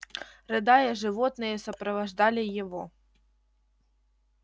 рыдая животные сопровождали его